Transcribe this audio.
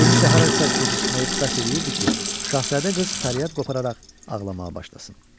Kimisə harasa gecikməyə bəs eləyirdi ki, Şahzadə qız fəryad qopararaq ağlamağa başlasın.